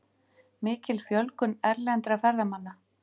Mikil fjölgun erlendra ferðamanna